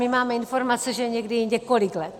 My máme informace, že někdy i několik let.